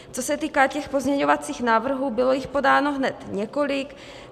Co se týká těch pozměňovacích návrhů, bylo jich podáno hned několik.